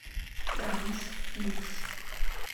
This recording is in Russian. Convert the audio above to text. транс икс